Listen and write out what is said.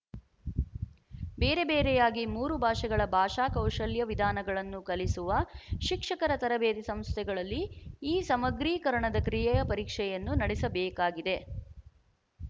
ಬೇರೆ ಬೇರೆಯಾಗಿ ಮೂರು ಭಾಷೆಗಳ ಭಾಷಾ ಕೌಶಲ್ಯ ವಿಧಾನಗಳನ್ನು ಕಲಿಸುವ ಶಿಕ್ಷಕರ ತರಬೇತಿ ಸಂಸ್ಥೆಗಳಲ್ಲಿ ಈ ಸಮಗ್ರೀಕರಣದ ಕ್ರಿಯೆಯ ಪರೀಕ್ಷೆಯನ್ನು ನಡೆಸಬೇಕಾಗಿದೆ